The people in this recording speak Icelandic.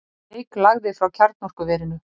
Reyk lagði frá kjarnorkuverinu